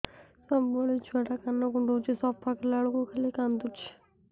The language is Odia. ସବୁବେଳେ ଛୁଆ ଟା କାନ କୁଣ୍ଡଉଚି ସଫା କଲା ବେଳକୁ ଖାଲି କାନ୍ଦୁଚି